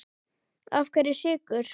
Af hverju Sykur?